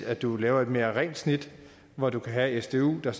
at du laver et mere rent snit hvor du kan have sdu der